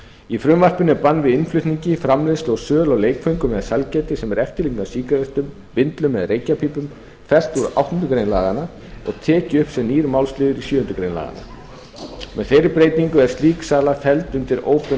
í frumvarpinu er bann við innflutningi framleiðslu og sölu á leikföngum eða sælgæti sem er eftirlíking af sígarettum vindlum eða reykjarpípum fertugasta og áttundu grein laganna og tekið upp sem nýr málsliður í sjöundu grein laganna með þeirri breytingu er slík sala felld undir óbeinar